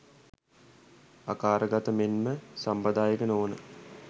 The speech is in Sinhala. ආකාරගත මෙන්ම සම්ප්‍රදායික නොවන